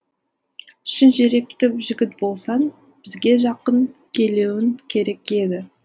шын жүректі жігіт болсаң бізге жақын келуің керек еді